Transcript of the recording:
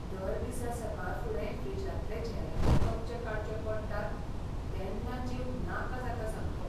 दर दिसा सकाळफुडें फ्रिजांतले झेलाचे कपचे काडचे पडटात तेन्ना जीव नाका जाता सामको.